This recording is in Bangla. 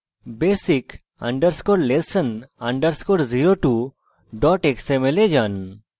basic _ lesson _ 02 xml এ যান